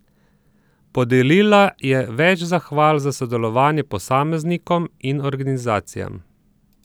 Podelila je več zahval za sodelovanje posameznikom in organizacijam.